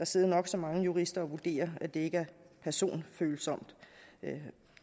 sidde nok så mange jurister og vurdere at det ikke er personfølsomt